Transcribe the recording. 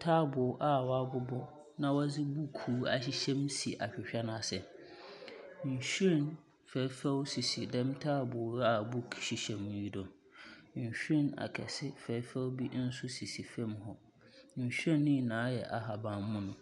Taboo a wɔabobɔ na wɔdze bukuu ahyehyɛm si ahwehwɛ no ase. Nhwiren fɛɛfɛw sisi dɛm taboo a book hyehyɛm yi do. Nheiren akɛse fɛɛfɛw bi nso sisi fam hɔ. nhwiren no nyinaa yɛ ahaban mono.